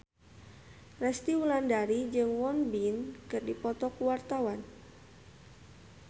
Resty Wulandari jeung Won Bin keur dipoto ku wartawan